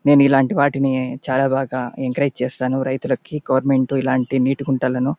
నేను ఇల్లాంటి వాటిని చాల బాగా ఎంకరేజ్ చేస్తాను రైతులకి గవర్నమెంట్ ఇలాంటి నీటి గుంతలను --